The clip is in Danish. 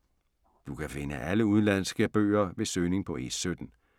Du kan finde alle udenlandske bøger ved søgning på E17.